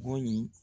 Bon